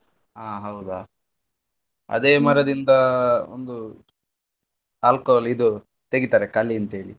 ಹಾ ಹೌದಾ? ಅದೇ ಒಂದು alcohol ಇದು ತೆಗಿತಾರೆ ಕಲಿ ಅಂತೇಳಿ.